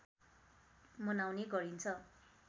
मनाउने गरिन्छ